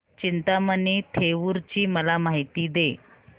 चिंतामणी थेऊर ची मला माहिती दे